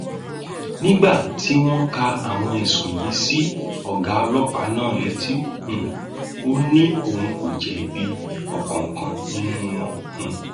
nígbà tí wọn ka àwọn ẹsùn yìí sí ọgá ọlọpàá náà létí um ó ní òun kò jẹbi ọkánkán nínú wọn um